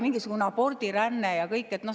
Mingisugune abordiränne ja muu selline.